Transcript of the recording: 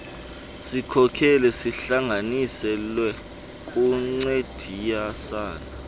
sikhokelo sihlanganiselwe ukuncediasana